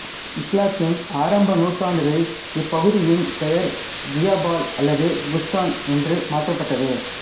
இஸ்லாத்தின் ஆரம்ப நூற்றாண்டுகளில் இப்பகுதியின் பெயர் ஜிபால் அல்லது குஸ்தான் என்று மாற்றப்பட்டது